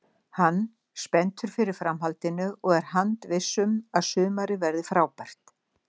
Hann spenntur fyrir framhaldinu og er handviss um að sumarið verði frábært.